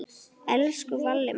Elsku Valli minn.